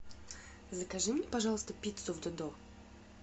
закажи мне пожалуйста пиццу в додо